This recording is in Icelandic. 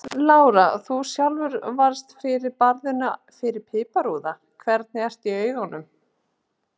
Lára: Þú sjálfur varðst fyrir barðinu fyrir piparúða, hvernig ertu í augunum?